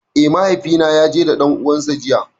Eh, mahaifi na ya je da ɗan uwan sa jiya.